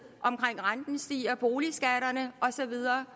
omkring om renten stiger boligskatterne og så videre